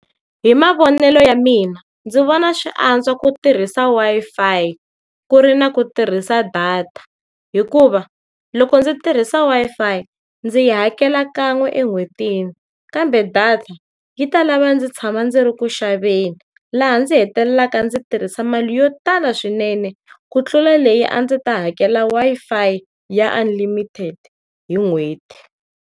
Hi mavonelo ya mina, ndzi vona swi antswa ku tirhisa Wi-Fi, ku ri na ku tirhisa data, hikuva loko ndzi tirhisa Wi-Fi ndzi hakela kan'we en'hwetini kambe data yi ta lava ndzi tshama ndzi ri ku xaveni. Laha ndzi hetelelaka ndzi tirhisa mali yo tala swinene, ku tlula leyi a ndzi ta hakela Wi-Fi ya unlimited hi n'hweti.